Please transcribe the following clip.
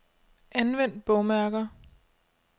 Anvend bogmærker.